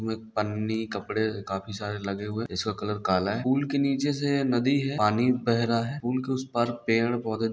पन्नी कपड़े काफी सारे लगे हुए इसका कलर काला है पुल के नीचे से नदी है पानी बह रहा है पूल के उस पार पेड़-पौधे ----